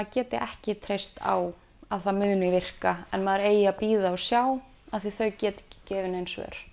geta ekki treyst á að það muni virka en maður eigi að bíða og sjá af því þau geta ekki gefið nein svör